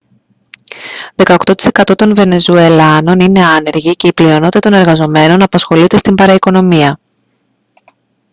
δεκαοκτώ τοις εκατό των βενεζουελάνων είναι άνεργοι και οι η πλειονότητα των εργαζομένων απασχολείται στην παραοικονομία